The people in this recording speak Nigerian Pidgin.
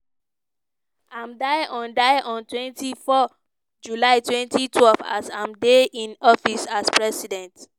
i'm die on die on twenty four july twenty twelve as i'm dey in office as president.